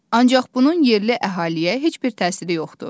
Ancaq bunun yerli əhaliyə heç bir təsiri yoxdur.